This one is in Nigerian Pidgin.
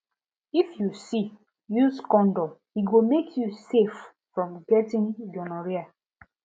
if u see use condom e go mk u safe from getting gonorrhea